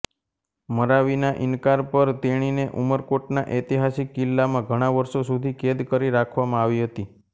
મરાવીના ઇનકાર પર તેણીને ઉમરકોટના ઐતિહાસિક કિલ્લામાં ઘણા વર્ષો સુધી કેદ કરી રાખવમાં આવી હતી